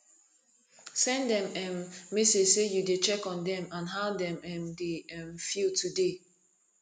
send dem um message sey yu dey check on dem and how dem um dey um feel today